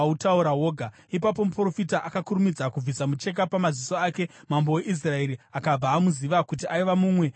Ipapo muprofita akakurumidza kubvisa mucheka pamaziso ake, mambo weIsraeri akabva amuziva kuti aiva mumwe wavaprofita.